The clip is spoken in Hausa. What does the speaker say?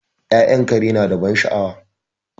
Ya'yan kare nada ban sha'awa